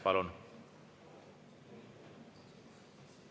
Palun!